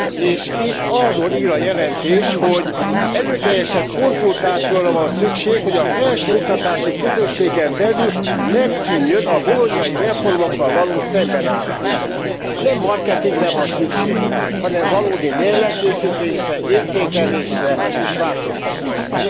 És itt arról ír a jelentés, hogy erőteljesebb konzultációra van szükség, hogy a felsőoktatási közösségen belül megszűnjön a bolognai reformokkal való szembenállás. Nem marketingre van szükség, hanem valódi mérlegkészítésre, értékelésre és változtatásra.